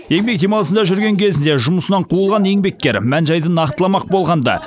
еңбек демалысында жүрген кезінде жұмысынан қуылған еңбеккер мән жайды нақтыламақ болғанда